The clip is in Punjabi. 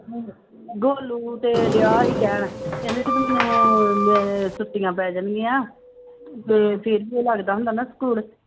ਗੋਲੂ ਤੇ ਡਿਆ ਸੀ ਕਹਿਣ ਕਹਿੰਦਾ ਜਦੋਂ ਮੈਨੁੰ ਮੈਂ ਛੁੱਟੀਆਂ ਪੈ ਜਾਣਗੀਆਂ ਤੇ ਫਿਰ ਵੀ ਲੱਗਦਾ ਹੁੰਦਾ ਨਾ ਸਕੂਲ